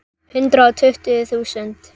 Hundrað og tuttugu þúsund.